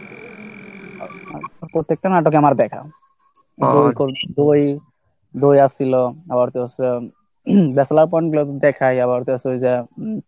প্রত্যেকটা নাটকই আমার দেখা দুই, দই আসছিল আবার ব্যাচলার ব্যাচলার পয়েন্ট লোক দেখাই আবার ওই যে